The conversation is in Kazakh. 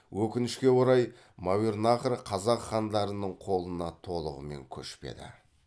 өкінішке орай мәуернахр қазақ хандарының қолына толығымен көшпеді